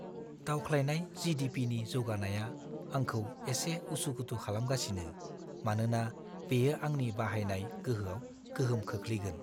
दावख्लायनाय जि.डि.पि.नि जौगानाया आंखौ एसे उसु-खुथु खालामगासिनो, मानोना बेयो आंनि बाहायनाय गोहोआव गोहोम खोख्लैगोन।